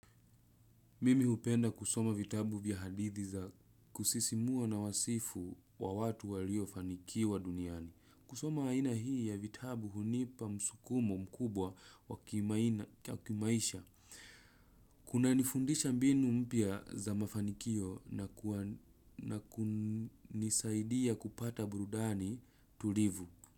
Mimi hupenda kusoma vitabu vya hadithi za kusisimua na wasifu wa watu walio faniki wa duniani. Kusoma aina hii ya vitabu, hunipa msukumo mkubwa wa kimaisha. Kuna nifundisha mbinu mpya za mafanikio na kunisaidia kupata burudani tulivu.